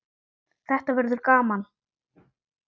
Þetta verður gaman